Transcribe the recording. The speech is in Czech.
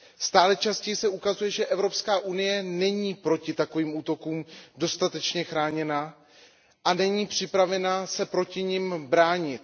Stále častěji se ukazuje, že EU není proti takovým útokům dostatečně chráněna a není připravena se jim bránit.